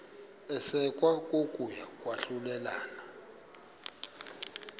isekwa kokuya kwahlulelana